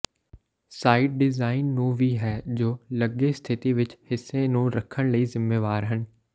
site design ਨੂੰ ਵੀ ਹੈ ਜੋ ਲੱਗੇ ਸਥਿਤੀ ਵਿਚ ਹਿੱਸੇ ਨੂੰ ਰੱਖਣ ਲਈ ਜ਼ਿੰਮੇਵਾਰ ਹਨ